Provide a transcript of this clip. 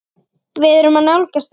Við erum að nálgast það.